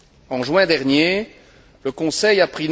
En juin dernier, le Conseil a